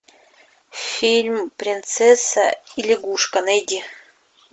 фильм принцесса и лягушка найди